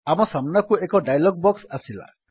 ଆମ ସାମ୍ନାକୁ ଏକ ଡାୟଲଗ୍ ବକ୍ସ ଆସିଲା